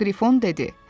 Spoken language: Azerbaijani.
Qrifon dedi.